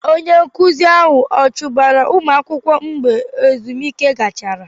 Onye nkụzi ahụ achụbara ụmụ akwụkwọ mgbe ezumike gachara?